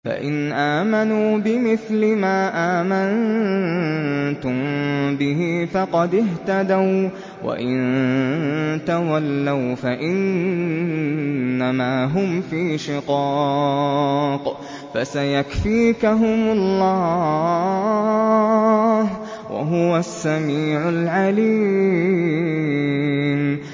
فَإِنْ آمَنُوا بِمِثْلِ مَا آمَنتُم بِهِ فَقَدِ اهْتَدَوا ۖ وَّإِن تَوَلَّوْا فَإِنَّمَا هُمْ فِي شِقَاقٍ ۖ فَسَيَكْفِيكَهُمُ اللَّهُ ۚ وَهُوَ السَّمِيعُ الْعَلِيمُ